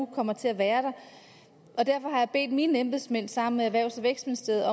kommer til at være og derfor har jeg bedt mine embedsmænd om sammen med erhvervs og vækstministeriet